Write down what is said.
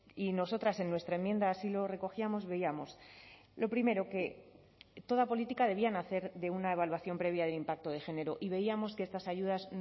y nosotras en nuestra enmienda así lo recogíamos veíamos lo primero que toda política debían nacer de una evaluación previa del impacto de género y veíamos que estas ayudas